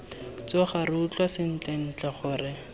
tsoga re utlwa sentlentle gore